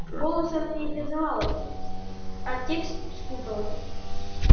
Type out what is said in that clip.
голос она не признала бы а текст спутала